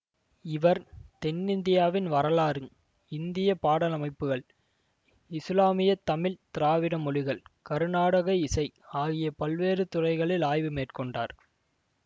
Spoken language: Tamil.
இவர் தென்னிந்தியாவின் வரலாறு இந்திய பாடலமைப்புகள் இசுலாமிய தமிழ் திராவிட மொழிகள் கருநாடக இசை ஆகிய பல்வேறு துறைகளில் ஆய்வு மேற்கொண்டார்